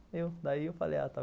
Daí eu falei, ah, está vendo?